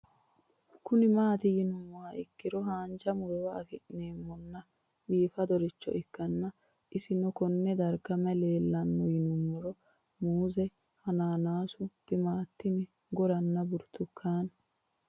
Kuni mati yinumoha ikiro hanja murowa afine'mona bifadoricho ikana isino Kone darga mayi leelanno yinumaro muuze hanannisu timantime gooranna buurtukaane